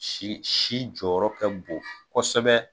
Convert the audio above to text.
Si si jɔyɔrɔ ka bon kosɛbɛ.